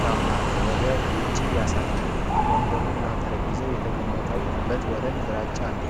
ትራንፓረንት ነው ። ወደ ውጭ ያሳያል ። ወንበሮች እና ጠረጴዛ የተቀመጠበት ወለል ግራጫ ነው ።